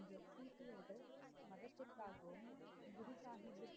என்று சீக்கியர்கள் மதத்திற்காகவும்